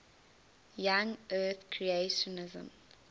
young earth creationism